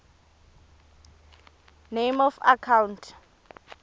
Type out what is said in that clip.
name of account